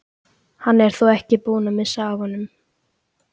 Hann er þó ekki búinn að missa af honum!